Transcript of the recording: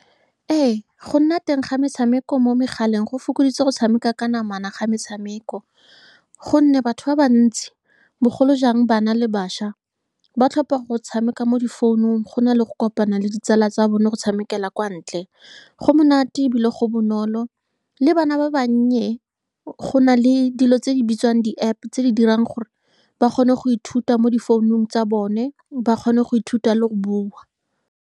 Ee, go nna teng ga metshameko mo megaleng go fokoditse go tshameka ka namana ga metshameko, ka gonne batho ba bantsi, bogolo jang bana le bašwa, ba tlhopa go tshameka mo di founung gona le go kopana le ditsala tsa bone go tshamekela kwa ntle go monate, ebile go bonolo. Le bana ba bannye, gona le dilo tse di bitswang di-App, tse di dirang gore ba kgone go ithuta mo di founung tsa bone, ba kgone go ithuta le go bua.